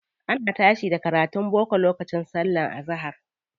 Ana tashi da karatun boko lokacin sallar azahar.